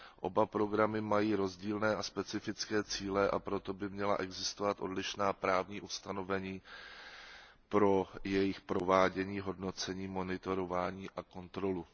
Oba programy mají rozdílné a specifické cíle, a proto by měla existovat odlišná právní ustanovení pro jejich provádění, hodnocení, monitorování a kontrolu.